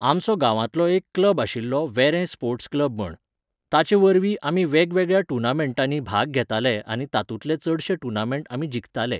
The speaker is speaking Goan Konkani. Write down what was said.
आमचो गावांतलो एक क्लब आशिल्लो वेरें स्पॉर्ट्स क्लब म्हण. ताचे वरवीं आमी वेगवेगळ्या टुर्नामेंटांनी भाग घेताले आनी तातुंतले चडशें टुर्नामँट आमी जिखताले